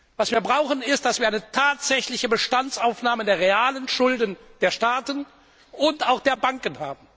Was wir brauchen, ist eine tatsächliche Bestandsaufnahme der realen Schulden der Staaten und auch der Banken.